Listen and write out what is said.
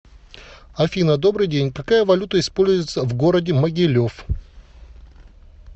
афина добрый день какая валюта используется в городе могилев